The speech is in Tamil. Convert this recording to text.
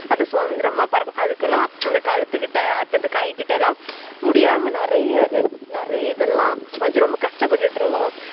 அது சுதந்திரமா பறக்கும் அதலாம் கழுத்துகிட்ட இந்த கை கிட்டலாம் முடியாம நெறைய இது நெறைய இத்தளம் ரொம்ப கஷ்ட பட்டுகிட்டு இருக்கும்